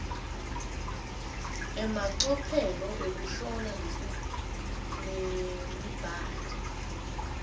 emacophelo ekuhlola nemibhalo